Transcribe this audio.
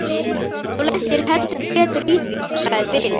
Þú lentir heldur betur í því, sagði Bill.